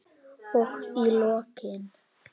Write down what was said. Og í lokin.